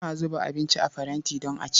Ana zuba abinci a faranti don a ci.